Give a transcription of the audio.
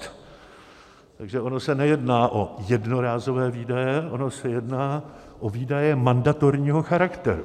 Takže ono se nejedná o jednorázové výdaje, ono se jedná o výdaje mandatorního charakteru.